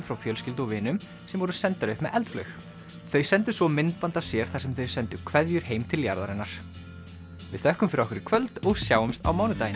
frá fjölskyldu og vinum sem voru sendar upp með eldflaug þau sendu svo myndband af sér þar sem þau sendu kveðjur heim til jarðarinnar við þökkum fyrir okkur í kvöld og sjáumst á mánudaginn